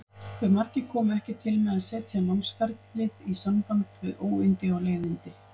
Hve margir komu ekki til með að setja námsferlið í samband við óyndi og leiðindi?